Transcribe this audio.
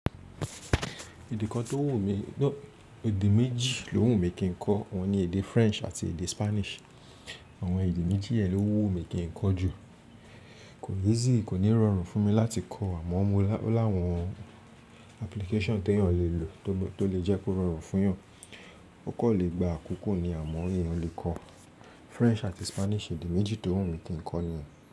Èdè kan tó wù mí, no èdè méjì ló wù mí kí n kọ́ ohun ni èdè French àti èdè Spanish. Àwọn èdè méjì yẹn ló wù mí kí n kọ́ jù. Ko easy, kò ní rọrùn fún mi láti kọ́ àmọ́ mo o láwọn application tí èèyàn lè lò tó lè jẹ́ kó rọrùn fún èèyàn. Ó kan lè gba àkókò ni àmọ́ èèyàn lè kọ́ French àti Spanish èdè méjì tó wù mí kí n kọ́ niyẹn.